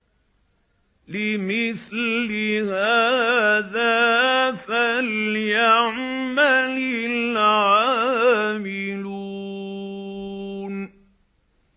لِمِثْلِ هَٰذَا فَلْيَعْمَلِ الْعَامِلُونَ